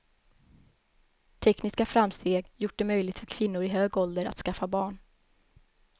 Tekniska framsteg gjort det möjligt för kvinnor i hög ålder att skaffa barn.